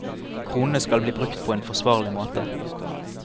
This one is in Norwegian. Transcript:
Kronene skal bli brukt på en forsvarlig måte.